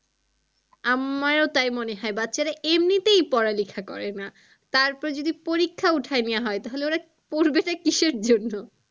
আমারও তাই মনে হয় বাচ্চারা এমনিতেই পড়া লেখা করে না তারপর যদি পরিক্ষা উঠাই নেওয়া হয় তাহলে ওরা পড়বেটা কিসের জন্য?